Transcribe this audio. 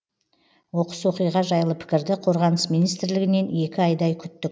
оқыс оқиға жайлы пікірді қорғаныс министрлігінен екі айдай күттік